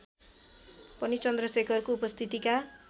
पनि चन्द्रशेखरको उपस्थितिका